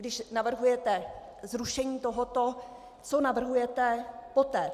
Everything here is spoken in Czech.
Když navrhujete zrušení tohoto, co navrhujete poté?